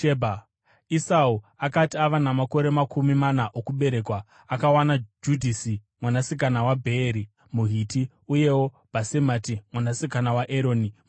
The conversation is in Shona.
Esau akati ava namakore makumi mana okuberekwa, akawana Judhisi mwanasikana waBheeri muHiti, uyewo Bhasemati mwanasikana waEroni muHiti.